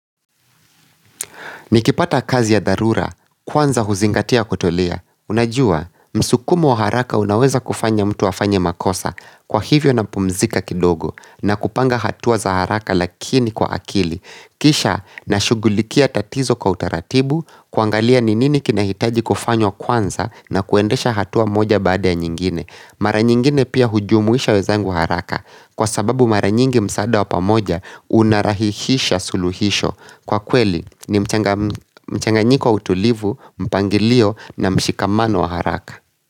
Nikipata kazi ya dharura, kwanza huzingatia kutolia. Unajua, msukumo wa haraka unaweza kufanya mtu afanye makosa kwa hivyo napumzika kidogo na kupanga hatuwa za haraka lakini kwa akili. Kisha, nashughulikia tatizo kwa utaratibu, kuangalia ni nini kinahitaji kufanywa kwanza na kuendesha hatuwa moja baada ya nyingine. Mara nyingine pia hujumuisha wenzangu wa haraka kwa sababu mara nyingi msaada wa pamoja unarahihisha suluhisho. Kwa kweli ni mchanganyiko wa utulivu, mpangilio na mshikamano wa haraka.